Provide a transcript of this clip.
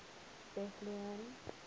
bethlehem